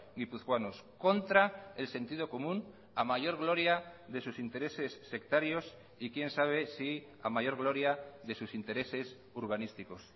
guipuzcoanos contra el sentido común a mayor gloria de sus intereses sectarios y quién sabe si a mayor gloria de sus intereses urbanísticos